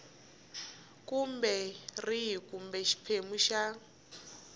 kumbe rihi kumbe xiphemu xa